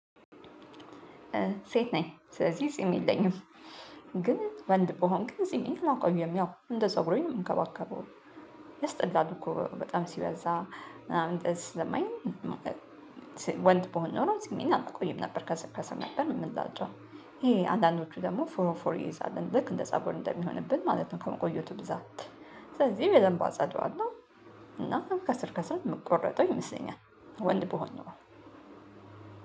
ሴት ነኝ ስለዚህ ጺም የለኝም። ግን ወንድ በሆንክ ጊዜ ነው የማቆየው ያው እንደ ፀጉሬም እንከባከበው። ያስጠላል እኮ በጣም ሲበዛ ምናምን እንደዚህ። ስሰማኝ በሆን ኖሮ ጺሜን አላቆይም ነበር ከሰከሰም ነበር እንደዛቸው። ይሄ አንዳንዶቹ ደግሞ ፎረፎር ይይዛል ልክ እንደ ፀጉር እንደሚሆንብን ማለት ነው። ከመቆየቱ ብዛት ስለዚህም በደንብ አጸደዋለሁ። እና ከስር ከሰር የምቆረጠው ይመስለኛል። ወንድ ብሆን ነው።